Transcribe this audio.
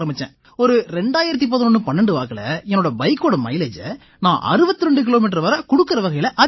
ஒரு 201112 வாக்கில என் பைக்கோட மைலேஜை நான் 62 கிலோமீட்டர் வரை குடுக்கற வகையில அதிகரிச்சேன்